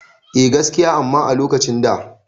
Eh gaskiya amma a lokacin da